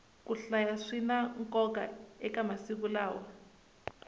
ku hlaya swina nkoka eka masiku lawa